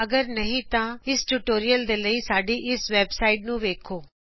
ਅਗਰ ਨਹੀ ਤਾ ਸਾਡੇ ਟਿਯੂਟੋਰਿਅਲ ਦੇ ਲਈ ਸਾਡੀ ਵੈਬਸਾਇਟ httpspoken tutorialorg ਵੇਖੋ